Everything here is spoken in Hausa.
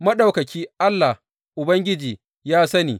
Maɗaukaki, Allah, Ubangiji ya sani!